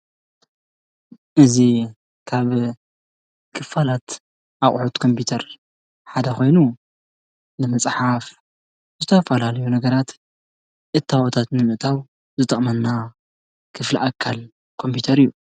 እዚ ካብ ክፋላት ኮምፒተር ንምፅሓፍ ዘገልግለና ክፍለ ኣካል ኮምፒተር እዩ።